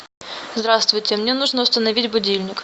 здравствуйте мне нужно установить будильник